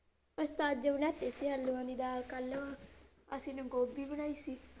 ਅਸੀਂ ਤਾਂ ਅੱਜ ਬਣਾਤੀ ਸੀ ਆਲੂਆਂ ਦੀ ਦਾਲ ਕੱਲ, ਅਸੀਂ ਗੋਭੀ ਬਣਾਈ ਸੀ।